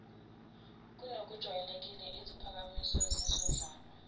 kunokujwayelekile iziphakamiso zizondlalwa